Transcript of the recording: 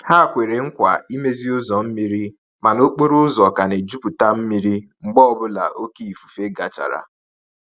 Ha kwere nkwa imezi ụzọ mmiri, mana okporo ụzọ ka na-ejuputa mmiri mgbe ọ bụla oké ifufe gachara.